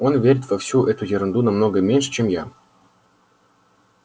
он верит во всю эту ерунду намного меньше чем я